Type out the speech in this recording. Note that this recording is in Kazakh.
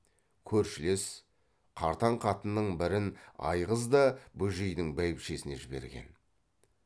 көршілес қартаң қатынның бірін айғыз да бөжейдің бәйбішесіне жіберген